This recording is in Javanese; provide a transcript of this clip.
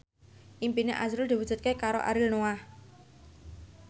impine azrul diwujudke karo Ariel Noah